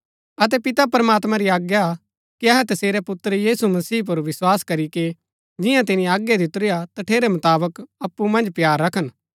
अतै पिता प्रमात्मैं री आज्ञा कि अहै तसेरै पुत्र यीशु मसीह पुर विस्वास करीके जिआं तिनी आज्ञा दितुरी हा तठेरै मुताबक अप्पु मन्ज प्‍यार रखन